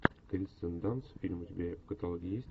кирстен данст фильм у тебя в каталоге есть